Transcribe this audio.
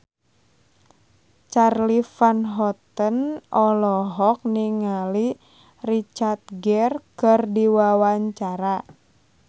Charly Van Houten olohok ningali Richard Gere keur diwawancara